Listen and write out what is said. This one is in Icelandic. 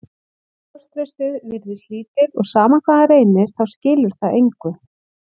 Sjálfstraustið virðist lítið og sama hvað hann reynir þá skilar það engu.